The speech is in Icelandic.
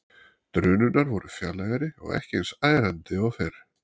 Drunurnar voru fjarlægari og ekki eins ærandi og fyrr.